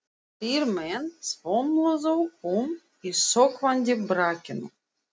Þrír menn svömluðu um í sökkvandi brakinu.